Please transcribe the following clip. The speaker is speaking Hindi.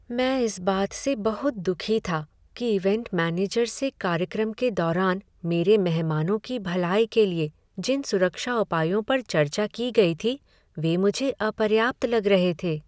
मैं इस बात से बहुत दुखी था कि इवेंट मैनेजर से कार्यक्रम के दौरान मेरे मेहमानों की भलाई के लिए जिन सुरक्षा उपायों पर चर्चा की गई थी वे मुझे अपर्याप्त लग रहे थे।